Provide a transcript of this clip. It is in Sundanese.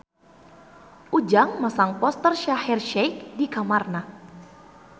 Ujang masang poster Shaheer Sheikh di kamarna